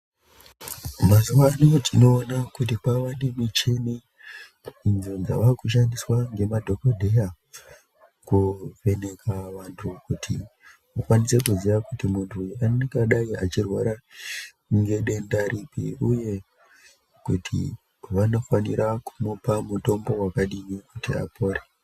Mazuva ano tinoona kuti kwava ne muchini yava kushandiswa nemadhokodheya kuvhenaka vantu kuti ikwanise kuziya kuti muntu angadai achirwara nedenda ripi uye kuti vanofanira kumupa mutombo wakadini kuti apore.